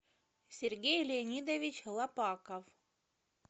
сергей леонидович лопаков